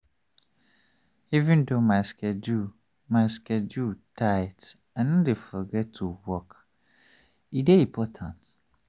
even though my schedule my schedule tight i no dey forget to walk e dey important.